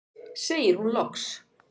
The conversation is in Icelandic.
segir hún loks.